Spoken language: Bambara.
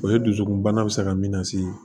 O ye dusukunbana bɛ se ka min lase